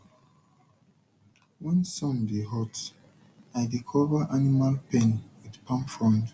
when sun dey hot i dey cover animal pen with palm frond